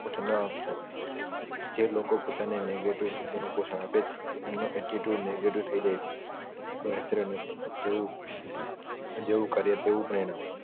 ન આપશો જે લોકો પોતાને negative શબ્દોનું પોષણ આપે છે એમનો attitude negative થય જાય છે કોઈ natural નથી જેવુ કાર્ય તેવું પરિણામ